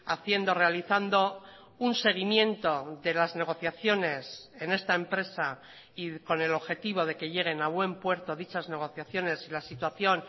haciendo realizando un seguimiento de las negociaciones en esta empresa y con el objetivo de que lleguen a buen puerto dichas negociaciones la situación